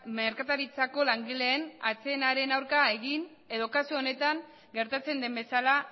merkataritzako langileen atsedenaren aurka egin edo kasu honetan gertatzen den bezala